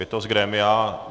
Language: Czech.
Je to z grémia.